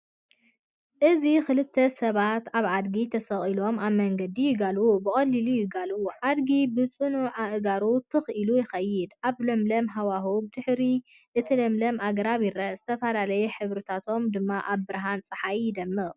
አዚ ክልተ ሰባት ኣብ ኣድጊ ተሰቒሎም ኣብ መንገዲ ይጋልቡ፣ ብቐሊሉ ይጋልቡ። ኣድጊ ብጽኑዕ ኣእጋሩ ትኽ ኢሉ ይኸይድ፣ ኣብ ለምለም ሃዋህው። ብድሕሪ እቲ ለምለም ኣግራብ ይርአ፣ ዝተፈላለየ ሕብርታቶም ድማ ኣብ ብርሃን ጸሓይ ይደምቕ።